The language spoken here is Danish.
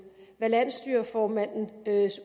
hvad landsstyreformandens